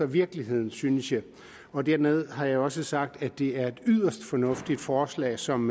virkeligheden synes jeg og dermed har jeg også sagt at det er et yderst fornuftigt forslag som